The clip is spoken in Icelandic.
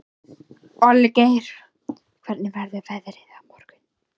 Olgeir, hvernig verður veðrið á morgun?